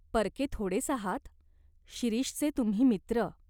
परके थोडेच आहात ? शिरीषचे तुम्ही मित्र.